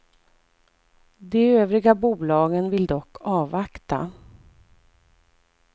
De övriga bolagen vill dock avvakta.